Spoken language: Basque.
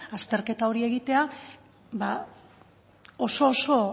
azterketa hori egitea ba oso oso